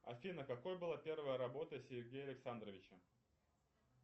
афина какой была первая работа сергея александровича